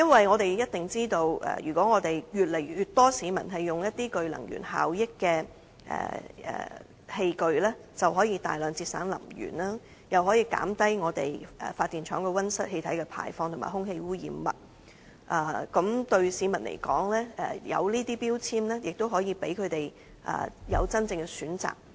我們也知道，當越來越多市民使用這些具能源效益的器具，我們便可大量節省能源，繼而減低發電廠的溫室氣體排放及空氣污染物，而對市民來說，這些標籤亦可以讓他們有真正的選擇。